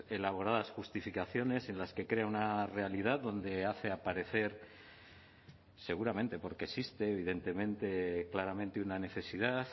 elaboradas justificaciones en las que crea una realidad donde hace aparecer seguramente porque existe evidentemente claramente una necesidad